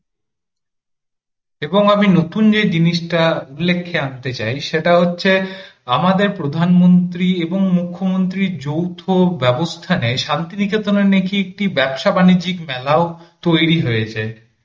এবং আমি নতুন যে জিনিসটা উল্লেখ্যে আনতে চাই সেটা হচ্ছে আমাদের প্রধানমন্ত্রী এবংমুখ্যমন্ত্রীর যৌথ ব্যবস্থা নায় শান্তিনিকেতনে নাকি একটি ব্যবসা-বাণিজ্যিক মেলাও তৈরি হয়েছে।